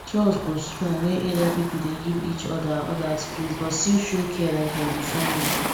trust go strong wen area people dey give each other other space but still show care like dem be family